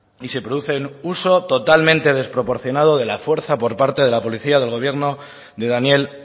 y se producen uso totalmente desproporcionado de la fuerza por parte de la policía del gobierno de daniel